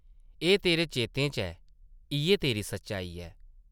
एह् तेरे चेतें च ऐ, इʼयै तेरी सच्चाई ऐ ।